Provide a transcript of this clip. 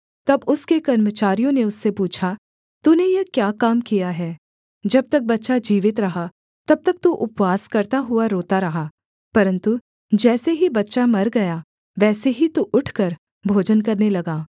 तब उसके कर्मचारियों ने उससे पूछा तूने यह क्या काम किया है जब तक बच्चा जीवित रहा तब तक तू उपवास करता हुआ रोता रहा परन्तु जैसे ही बच्चा मर गया वैसे ही तू उठकर भोजन करने लगा